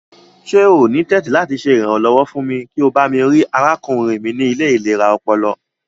Ṣe o ni tẹ̀tì lati ṣe iranlọwọ fún mi kí o bami rii arákúnrin mi ni ile ilera ọpọlọ?